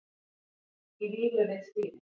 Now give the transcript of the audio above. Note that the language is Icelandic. Í vímu við stýrið